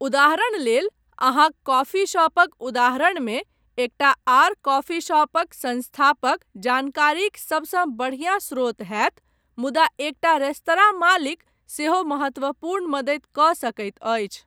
उदाहरण लेल, अहाँक कॉफी शॉपक उदाहरणमे एकटा आर कॉफी शॉपक संस्थापक जानकारीक सभसँ बढियाँ स्रोत होयत, मुदा एकटा रेस्तरां मालिक सेहो महत्वपूर्ण मदति कऽ सकैत अछि।